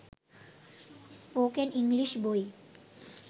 spoken English বই